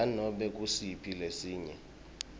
nanobe ngusiphi lesinye